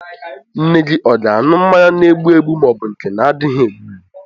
Nne gị ọ ga-aṅụ mmanya na-egbụ egbụ ma ọ bụ nke na-adịghị egbu egbu?